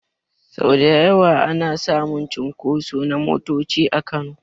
Sau da yawa ana samun cunkoso na motoci a Kano.